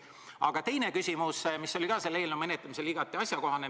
Aga nüüd teine küsimus, mis oli ka selle eelnõu menetlemisel igati asjakohane.